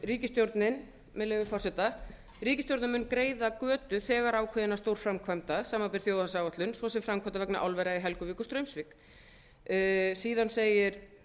ríkisstjórnin með leyfi forseta ríkisstjórnin mun greiða götu þegar ákveðinna stórframkvæmda samanber þjóðhagsáætlun svo sem framkvæmdir vegna álvera í helguvík og straumsvík síðan